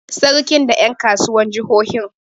Sarkin da ƴan kasuwar jahohin.